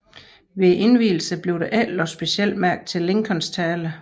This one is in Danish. Ved indvielsen blev der ikke lagt specielt mærke til Lincolns tale